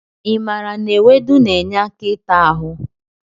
I maara na ewedu na-enye aka ịta ahụ?